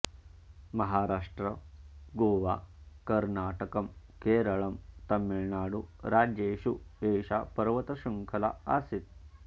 महाराष्ट्र गोवा कर्णाटकम् केरळम् तमिळुनाडु राज्येषु एषा पर्वतशृङ्खला अस्ति